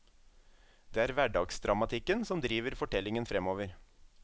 Det er hverdagsdramatikken som driver fortellingen fremover.